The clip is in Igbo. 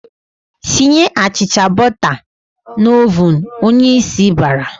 "Tinye achịcha bọta tat n'ovun!" Onyeisi bara.